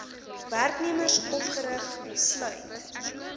werknemers opgerig sluit